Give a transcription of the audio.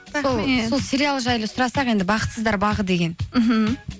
сол сериал жайлы сұрасақ енді бақытсыздар бағы деген мхм